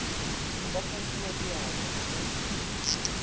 go ka hlatswiwa diatla go